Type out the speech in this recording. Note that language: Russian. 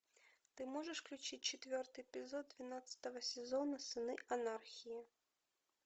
ты можешь включить четвертый эпизод двенадцатого сезона сыны анархии